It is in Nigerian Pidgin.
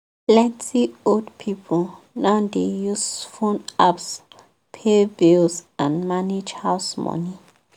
plenty old people now dey use phone apps pay bills and manage house money.